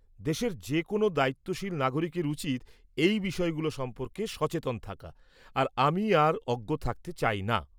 দেশের যেকোনও দায়িত্বশীল নাগরিকের উচিৎ এই বিষয়গুলো সম্পর্কে সচেতন থাকা, আর আমি আর অজ্ঞ থাকতে চাইনা।